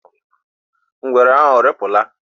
Ngwere ahụ arịpụla?